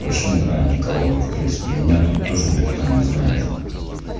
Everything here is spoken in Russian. вообще не знаю никого ну в принципе меня тут тоже никто не знает